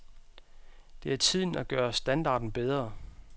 Det er tiden at gøre standarden bedre.